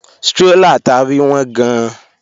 Strólà ta rí wọ́n gan-an